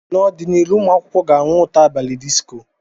N'ọdịnihu, ụmụ akwụkwọ ga-anụ ụtọ abalị disco.